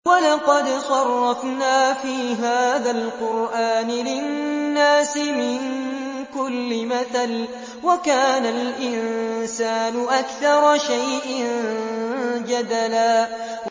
وَلَقَدْ صَرَّفْنَا فِي هَٰذَا الْقُرْآنِ لِلنَّاسِ مِن كُلِّ مَثَلٍ ۚ وَكَانَ الْإِنسَانُ أَكْثَرَ شَيْءٍ جَدَلًا